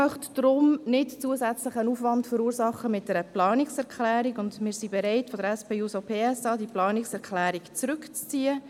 Ich möchte darum nicht mit einer Planungserklärung zusätzlichen Aufwand verursachen, und wir von der SP-JUSP-PSA-Fraktion sind bereit, diese Planungserklärung zurückzuziehen.